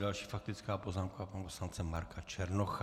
Další faktická poznámka pana poslance Marka Černocha.